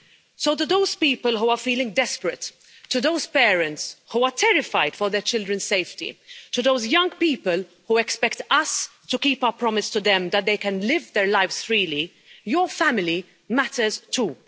So to those people who are feeling desperate, to those parents who are terrified for their children's safety, to those young people who expect us to keep our promise to them that they can live their lives freely your family matters, too.